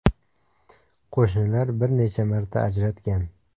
Qo‘shnilar bir necha marta ajratgan.